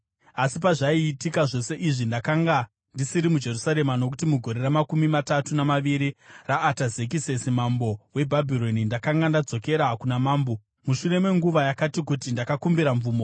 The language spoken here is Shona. Asi pazvaiitika zvose izvi, ndakanga ndisiri muJerusarema, nokuti mugore ramakumi matatu namaviri raAtazekisesi mambo weBhabhironi ndakanga ndadzokera kuna mambo. Mushure menguva yakati kuti ndakakumbira mvumo